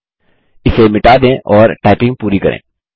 इसे मिटा दें और टाइपिंग पूरी करें